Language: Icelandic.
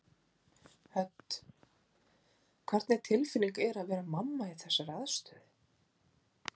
Hödd: Hvernig tilfinning er að vera mamma í þessari aðstöðu?